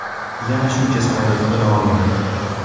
Yana shuncha samolyot qo‘na olmadi.